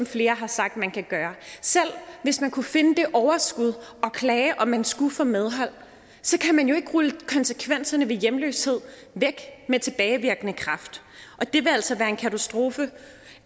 flere har sagt man kan gøre selv hvis man kunne finde det overskud og klage og man skulle få medhold så kan man jo ikke rulle konsekvenserne af hjemløshed væk med tilbagevirkende kraft og det vil altså være en katastrofe